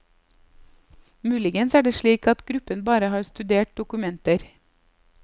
Muligens er det slik at gruppen bare har studert dokumenter.